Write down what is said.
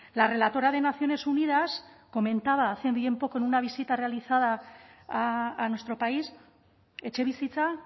la relatora de naciones unidas comentaba hace bien poco en una visita realizada a nuestro país etxebizitza